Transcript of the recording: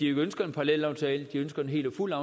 ønsker en parallelaftale de ønsker en fuld og